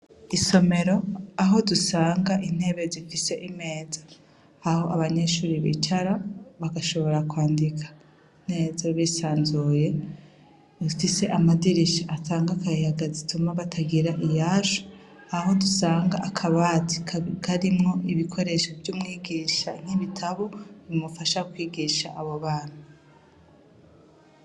Isomero, aho dusanga intebe zifise imeza, aho abanyeshure bicara, bagashobora kwandika neza bisanzuye, rifise amadirisha atanga akayaga zituma batagira iyashu ,aho dusanga akabati karimwo ibikoresho vy'umwigisha nk'ibitabo bimufasha kwigisha abo bana.